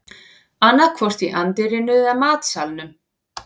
Annaðhvort í anddyrinu eða matsalnum